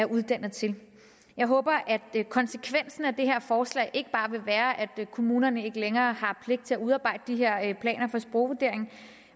uddannet til jeg håber at konsekvensen af det her forslag ikke bare vil være at kommunerne ikke længere har pligt til at udarbejde de her planer for sprogvurdering